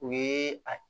U ye a